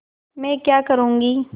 मैं क्या करूँगी